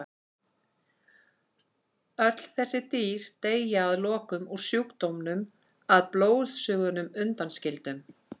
Öll þessi dýr deyja að lokum úr sjúkdómnum að blóðsugunum undanskildum.